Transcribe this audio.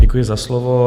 Děkuji za slovo.